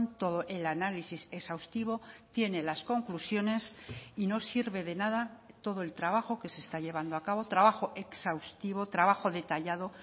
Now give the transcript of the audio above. todo el análisis exhaustivo tiene las conclusiones y no sirve de nada todo el trabajo que se está llevando a cabo trabajo exhaustivo trabajo detallado